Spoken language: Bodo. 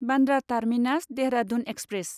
Bandra terminus Dehradun express